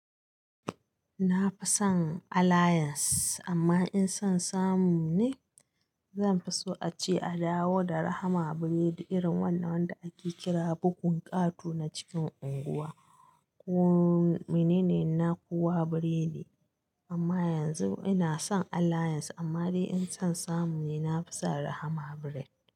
Na fi son Allayans amma in son samu ne, zan fi so ace a dawo da Rahama biredi irin wannan wanda ake kira bugun ƙato na cikin unguwa. Ko menene na kowa biredi amma yanzu ina son Allayans amma dai in son samu ne na fi so Rahama biredi.